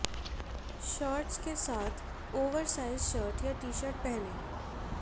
shorts के साथ oversize shirt या टीशर्ट पहनें